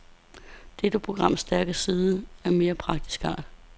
Dette programs stærke side er af mere praktisk art.